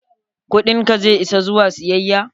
Kudin ka zai isa zuwa siyayya?